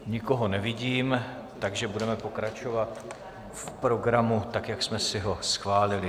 Nikoho nevidím, takže budeme pokračovat v programu tak, jak jsme si ho schválili.